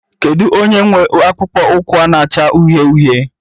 Kedu onye nwe akpụkpọ ụkwụ na-acha uhie uhie?